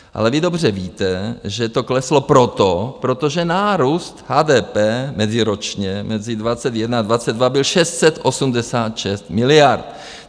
Ale vy dobře víte, že to kleslo proto, protože nárůst HDP meziročně mezi 2021 a 2022 byl 686 miliard.